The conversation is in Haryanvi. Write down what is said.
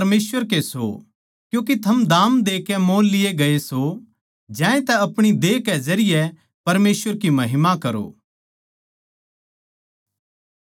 क्यूँके थम दाम देकै मोल लिये गये सो ज्यांतै अपणी देह कै जरिये परमेसवर की महिमा करो